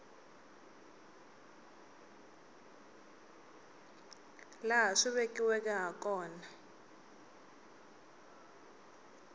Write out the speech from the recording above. laha swi vekiweke ha kona